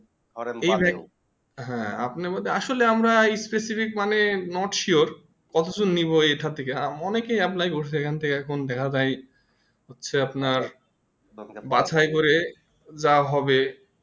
হ্যাঁ আপনি আমাদের আসলে আমরা specific মানে not Sure কতজন নিবো এখান থেকে অনেকই apply করছে এখন থেকে আর কোনো দেখা যায় না হচ্ছে আপনার বাছাই করে যা হবে